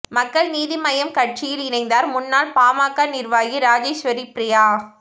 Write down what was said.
மக்கள் நீதி மய்யம் கட்சியில் இணைந்தார் முன்னாள் பாமக நிர்வாகி ராஜேஸ்வரி ப்ரியா